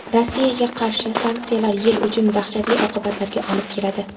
Rossiyaga qarshi sanksiyalar YeI uchun dahshatli oqibatlarga olib keladi.